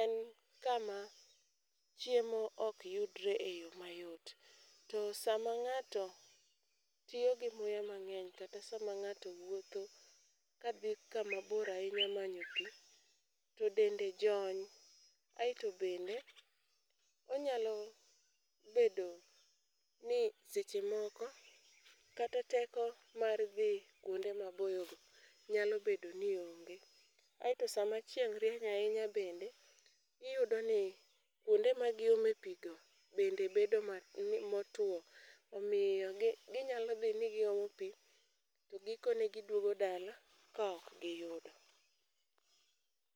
en kama chiemo ok yudre e yo mayot, to sama ng'ato tiyo gi muya mang'eny kata sama ng'ato wuotho kadhi kamabor ahinya manyo pi, to dende jony, aeto bende onyalo bedo ni seche moko, kata teko mar dhi kwonde maboyogo nyalo bedo ni onge. Aeto sama chieng' rieny ahinya bende, iyudoni kwonde magiome pi go, bende bedo motuwo, omiyo ginyalo dhi ni giomo pi, to gikone gidwogo dala ka ok giyudo.